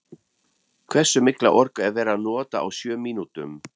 Hversu mikla orku er verið að nota á sjö mínútum?